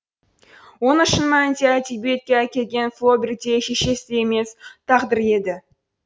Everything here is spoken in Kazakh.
оны шын мәнінде әдебиетке әкелген флобер де шешесі де емес тағдыры еді